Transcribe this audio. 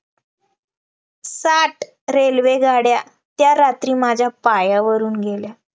साठ railway गाड्या त्या रात्री माझ्या पायावरून गेल्या